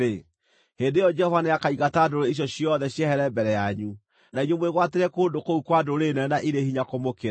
hĩndĩ ĩyo Jehova nĩakaingata ndũrĩrĩ icio ciothe ciehere mbere yanyu, na inyuĩ mwĩgwatĩre kũndũ kũu kwa ndũrĩrĩ nene na irĩ hinya kũmũkĩra.